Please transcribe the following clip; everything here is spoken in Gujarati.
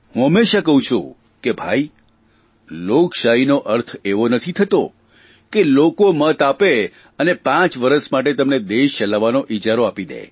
હું હંમેશા કહું છું કે ભાઇ લોકશાહીનો અર્થ એવો નથી થતો કે લોકો મત આપે અને પાંચ વરસ માટે તમને દેશ ચલાવવાનો ઇજારો આપી દે